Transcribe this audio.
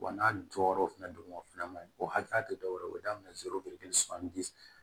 Wa n'a jɔyɔrɔ fɛnɛ donna o fɛnɛ maɲi o hakɛya te dɔwɛrɛ ye o be daminɛ zoro